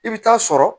I bɛ taa sɔrɔ